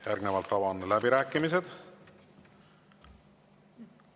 Järgnevalt avan läbirääkimised.